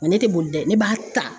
Ne tɛ boli dɛ ne b'a ta.